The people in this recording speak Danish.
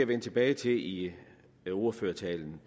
vende tilbage til i ordførertalen